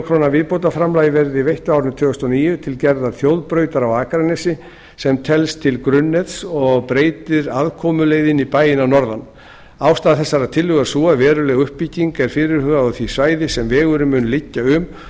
króna viðbótarframlag verði veitt á árinu tvö þúsund og níu til gerðar þjóðbrautar á akranesi sem telst til grunnnets og breytir aðkomuleið inn í bæinn að norðan ástæða þessarar tillögu er sú að veruleg uppbygging er fyrirhuguð á því svæði sem vegurinn mun liggja um